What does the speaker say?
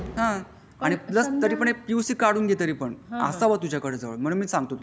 Plus तरी पण P U C काढून घे तरी पण असावा तुझाकडे जवळ म्हणून मी सांगतो तुला.